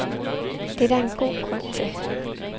Det er der en god grund til.